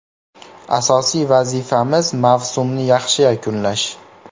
Asosiy vazifamiz mavsumni yaxshi yakunlash.